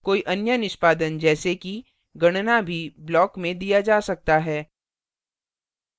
कोई any निष्पादन जैसे कि गणना भी block में दिया जा सकता है